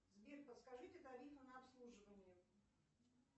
сбер подскажите тарифы на обслуживание